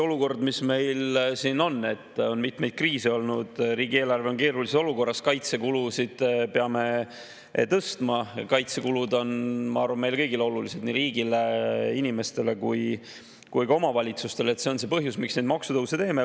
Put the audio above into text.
Eks see meie olukord, et mitmeid kriise on olnud, riigieelarve on keerulises olukorras, kaitsekulusid peame tõstma – kaitsekulud on, ma arvan, meile kõigile olulised: nii riigile, inimestele kui ka omavalitsustele –, on see põhjus, miks me neid maksutõuse teeme.